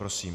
Prosím.